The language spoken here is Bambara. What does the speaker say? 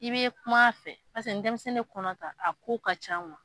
I bɛi kuma fɛ paseke ni denmisɛnnin ye kɔnɔ ta a ko ka ca